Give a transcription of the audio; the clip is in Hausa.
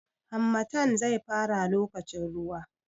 Harmattan zai fara lokacin ruwa.